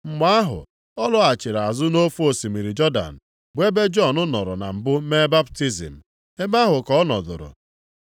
Mgbe ahụ ọ laghachiri azụ nʼofe osimiri Jọdan, bụ ebe Jọn nọrọ na mbụ mee baptizim, ebe ahụ ka ọ nọdụrụ.